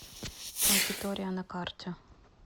макитория на карте